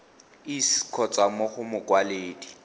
iss kgotsa mo go mokwaledi